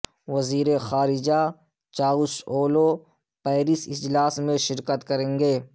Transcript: وزیر خارجہ Cavusoglu Paris اجلاس میں شرکت کریں گے